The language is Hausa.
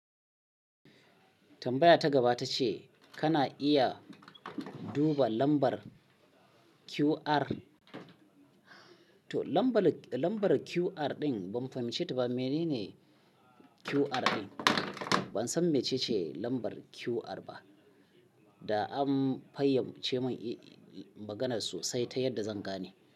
Tambaya ta gaba ta ce kana iya duba lambar QR? To lambar QR ɗin ban fahimce ta ba, mene ne QR din? Ban san mece ce lambar QR ba da an fayyace min maganar sosai ta yadda zan gane.